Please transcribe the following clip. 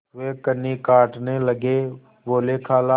वे कन्नी काटने लगे बोलेखाला